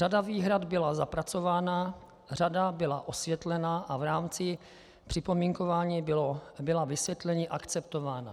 Řada výhrad byla zapracována, řada byla osvětlena a v rámci připomínkování byla vysvětlení akceptována.